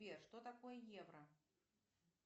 сбер что такое евро